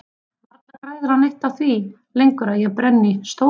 Varla græðir hann neitt á því lengur að ég brenni stólinn.